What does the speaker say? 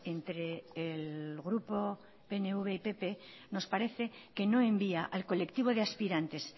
entre el grupo pnv y pp nos parece que no envía al colectivo de aspirantes